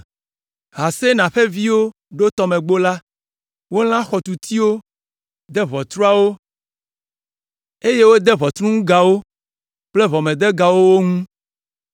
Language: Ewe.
Hasenaa ƒe viwo ɖo Tɔmelãgbo la. Wolã xɔtutiwo, de ʋɔtruawo, eye wode ʋɔtruŋugawo kple ʋɔmedegawo wo ŋu.